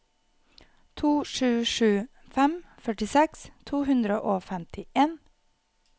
to sju sju fem førtiseks to hundre og femtien